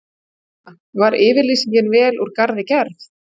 Kristjana: Var yfirlýsingin vel úr garði gerð?